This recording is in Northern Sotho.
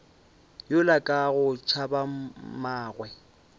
yola ka go tšhaba mmagwe